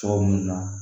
Tɔɔrɔ minnu na